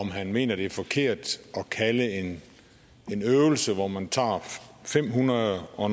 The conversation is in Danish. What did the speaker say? om han mener at det er forkert at kalde en øvelse hvor man tager fem hundrede og